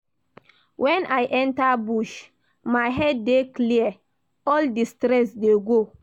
Wen I enter bush, my head dey clear, all di stress dey go.